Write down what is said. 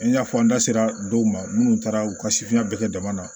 I n'a fɔ an da sera dɔw ma munnu taara u ka sifina bɛɛ kɛ dama na